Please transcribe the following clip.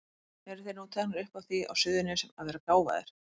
Eru þeir nú teknir upp á því á Suðurnesjum að vera gáfaðir?